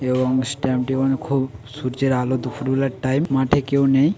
এবং মনে খুব সূর্যের আলো দুপুরবেলার টাইম মাঠে কেউ নেই--